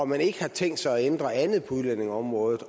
man ikke har tænkt sig at ændre andet på udlændingeområdet